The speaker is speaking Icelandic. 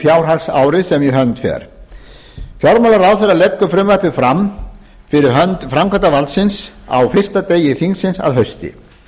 fjárhagsárið sem í hönd fer fjármálaráðherra leggur frumvarpið fram fyrir hönd framkvæmdarvaldsins á fyrsta degi þingsins að hausti